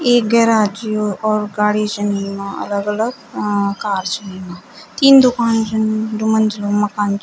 एक गेराज च यो और गाडी छिन येमा अलग-अलग अ कार छन येमा तीन दूकान छन दुमंजिलू माकन च।